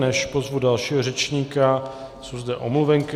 Než pozvu dalšího řečníka, jsou zde omluvenky.